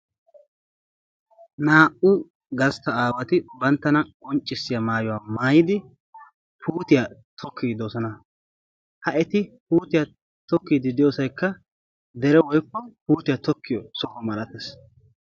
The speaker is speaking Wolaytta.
naa"u gastta aawati banttana qonccissiya mayuwa mayyidi puutiya tokkiiddi doosona. ha eti puutiya tokkiiddi diyosayikka dere woyikko puutiya tokkiyo soho malates.